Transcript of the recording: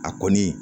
A kɔni